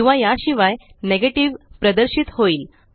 किंवा याशिवाय नेगेटिव्ह प्रदर्शित होईल